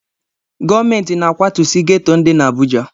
Gọọmenti na-akwatusi geto ndị dị n'Abụja.